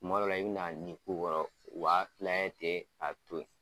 Kuma dɔ la i bɛ na nin k'u kɔɔrɔ o b'a filɛ ten k'a to ye.